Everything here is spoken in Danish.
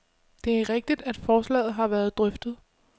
Det er rigtigt, at forslaget har været drøftet.